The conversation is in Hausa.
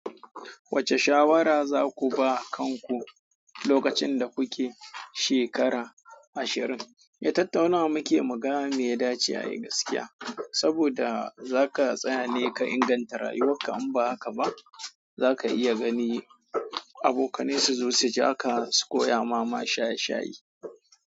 Wacce shawara za ku ba kanku lokacin da kuke shekara ashirin? Eh tattaunawa muke muga mi yadace a yi gaskiya. Saboda zaka tsayane ka inganta rayuwarka, imba haka ba zaka iya gani abokane su zo su jaaka su koya ma mashaye shaye.